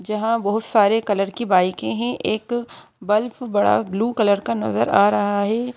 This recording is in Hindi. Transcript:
जहां बहुत सारे कलर की बाइके है एक बल्फ बड़ा ब्ल्यू कलर का नजर आ रहा है।